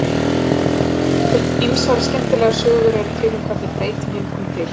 Ýmsar skemmtilegar sögur eru til um hvernig breytingin kom til.